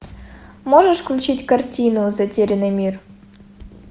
можешь включить картину затерянный мир